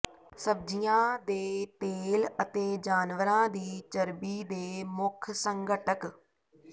ਸਬਜ਼ੀਆਂ ਦੇ ਤੇਲ ਅਤੇ ਜਾਨਵਰਾਂ ਦੀ ਚਰਬੀ ਦੇ ਮੁੱਖ ਸੰਘਟਕ